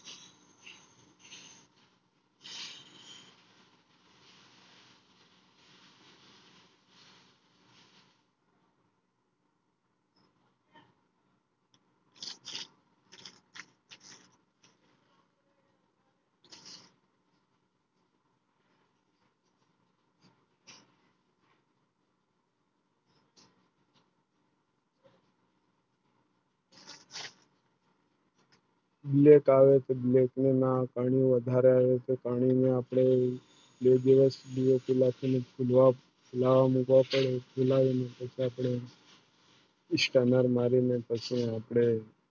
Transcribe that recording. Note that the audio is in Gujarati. Black આવે Black ને ના પાણી વધારે પાણી માં અપને બે દિવસ દિયા કાલે જે Stunner મારી ને પછી આપણે